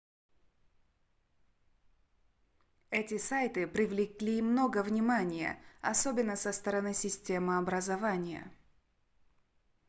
эти сайты привлекли много внимания особенно со стороны системы образования